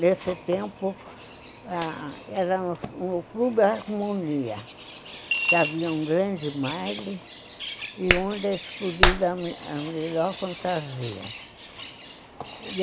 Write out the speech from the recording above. Nesse tempo, era no Clube da Harmonia, que havia um grande baile onde era escolhida a melhor fantasia.